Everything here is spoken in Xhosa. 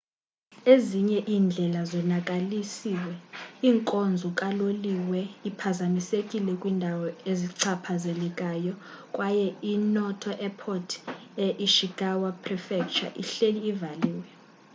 ezinye iindlela zonakalisiwe inkonzo kaloliwe iphazamisekile kwiindawo ezichaphazelekayo kwaye inoto airport eishikawa prefecture ihleli ivaliwe